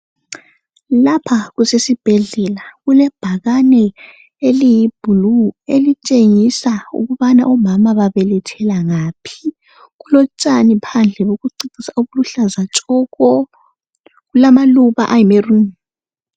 Lapha kusesibhedlela kulebhakane eliyi blue elitshengisa ukubana omama babelethela ngaphi kulotshani phandle bokucecisa obuluhlaza tshoko kulamaluba ayi maroon.